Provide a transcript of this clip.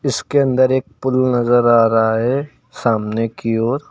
इसके अंदर एक पुल नजर आ रहा है सामने की ओर।